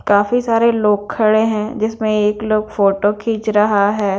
काफ़ी सारे लोग खड़े हैं जिसमें एक लोंग फोटो खींच रहा है।